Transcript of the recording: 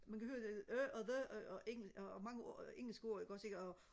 man kan høre øh og the og mange engelske ord ikke også og